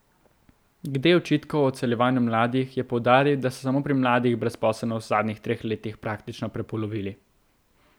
Glede očitkov o odseljevanju mladih je poudaril, da so samo pri mladih brezposelnost v zadnjih treh letih praktično prepolovili.